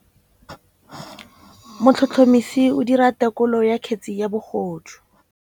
Motlhotlhomisi o dira têkolô ya kgetse ya bogodu.